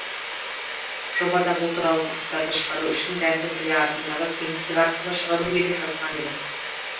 жобада бұл туралы дыбыстарды шығару үшін дәмді тіл артындағы кеңістік арқылы шығару керек жазған дедім